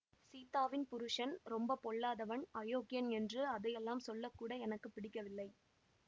சீதாவின் புருஷன் ரொம்ப பொல்லாதவன் அயோக்கியன் என்று அதையெல்லாம் சொல்லக்கூட எனக்கு பிடிக்கவில்லை